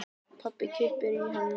Pabbi kippir í hana.